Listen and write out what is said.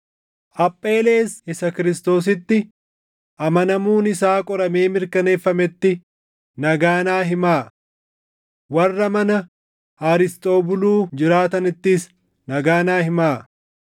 Apheelees isa Kiristoositti amanamuun isaa qoramee mirkaneeffametti nagaa naa himaa. Warra mana Arisxoobuluu jiraatanittis nagaa naa himaa.